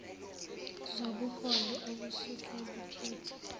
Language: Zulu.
zobuholi obusuke bukhethwe